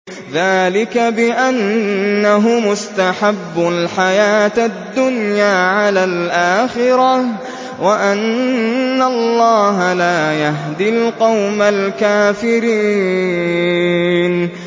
ذَٰلِكَ بِأَنَّهُمُ اسْتَحَبُّوا الْحَيَاةَ الدُّنْيَا عَلَى الْآخِرَةِ وَأَنَّ اللَّهَ لَا يَهْدِي الْقَوْمَ الْكَافِرِينَ